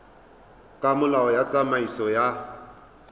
ka molao wa tsamaiso ya